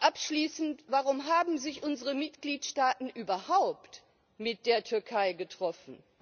Abschließend Warum haben sich unsere Mitgliedstaaten überhaupt mit der Türkei getroffen?